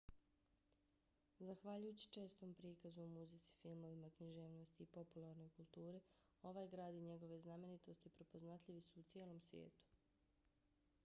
zahvaljujući čestom prikazu u muzici filmovima književnosti i popularnoj kulturi ovaj grad i njegove znamenitosti prepoznatljivi su u cijelom svijetu